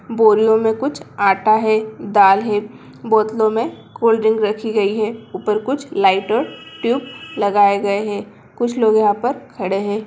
बोरियों मे कुछ आटा है दाल हैं बोतलो मे कॉल्ड्रिक रखी गयी है ऊपर कुछ लाइट और ट्यूब लगाए गए है कुछ लोग यहां पर खड़े हैं।